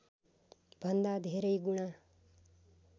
भन्दा धेरै गुणा